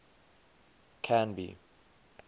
canby